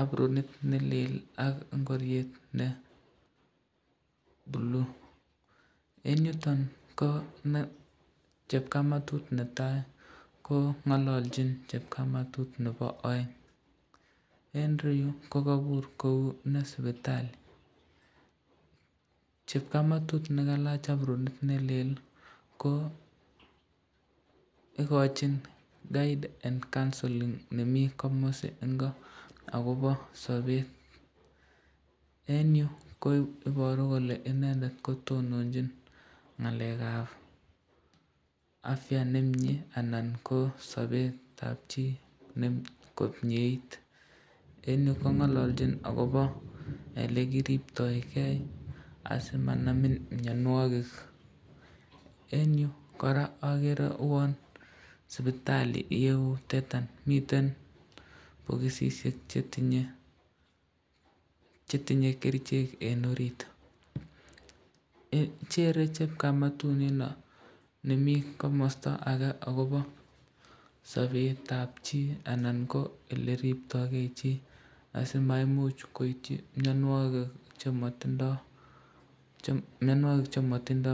apronit nelel ak ngoriet nee buli, eng yuton ko chepkamatut netai ko ngalalchin chepkamatut nebo aeng, eng ireyu kokabur kou ne sipitali, chepkamatut nekalach apronit nelel ko ikochin guide and counselling nemi komasi ingo akobo ,eng yu ko ibaru kole inendet kitononchin ngalekab afya nemnye anan ko sabetabchi komnyeit, eng yu ko ngalalchin akobo olekiribtoken, asimanamin mnyanwakik, eng yu koraa agere uan sipitali iyeutetan ,miten bokosisyek chetinye kerichek eng orit, chere chepkamatut nino nemi komasta ake akobo sabetab chi anan ko oleriptoken chi asiko maimuch koityi mnyanwakik chematindo.